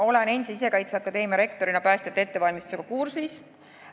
Olen endise Sisekaitseakadeemia rektorina päästjate ettevalmistusega kursis.